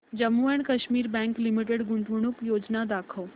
Jammu and Kashmir bank limited गुंतवणूक योजना दाखव